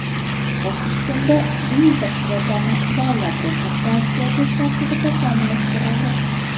O‘zbekistonda diniy tashkilotlarni davlat ro‘yxatidan o‘tkazish tartibi takomillashtirildi.